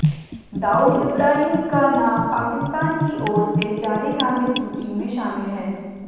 दाऊद इब्राहिम का नाम पाकिस्तान की ओर से जारी नामित सूची में शामिल है